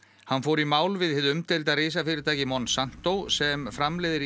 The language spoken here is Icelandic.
hann fór í mál við hið umdeilda risafyrirtæki Monsanto sem framleiðir